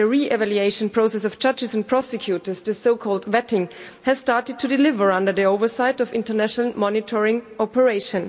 the re evaluation process for judges and prosecutors the so called vetting has started to deliver under the oversight of the international monitoring operation.